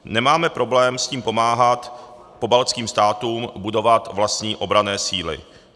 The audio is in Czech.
Nemáme problém s tím pomáhat pobaltským státům budovat vlastní obranné síly.